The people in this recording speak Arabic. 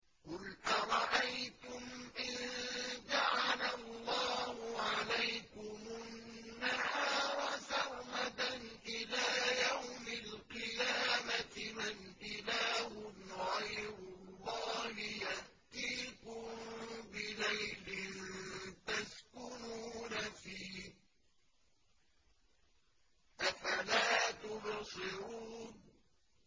قُلْ أَرَأَيْتُمْ إِن جَعَلَ اللَّهُ عَلَيْكُمُ النَّهَارَ سَرْمَدًا إِلَىٰ يَوْمِ الْقِيَامَةِ مَنْ إِلَٰهٌ غَيْرُ اللَّهِ يَأْتِيكُم بِلَيْلٍ تَسْكُنُونَ فِيهِ ۖ أَفَلَا تُبْصِرُونَ